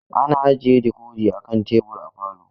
Ana ajiye dikodi a kan tebur a falo.